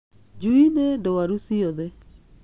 Njui nĩ ndwaru ciothe